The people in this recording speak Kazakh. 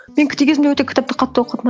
мен кезімде өте кітапті қатты оқыдым